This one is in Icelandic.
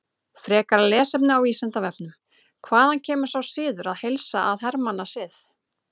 Frekara lesefni á Vísindavefnum: Hvaðan kemur sá siður að heilsa að hermannasið?